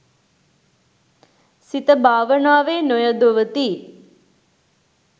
සිත භාවනාවේ නොයොදවති.